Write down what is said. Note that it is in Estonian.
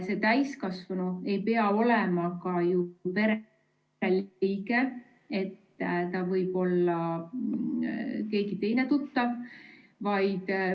See täiskasvanu ei pea olema pereliige, ta võib olla keegi tuttav.